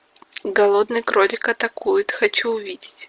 голодный кролик атакует хочу увидеть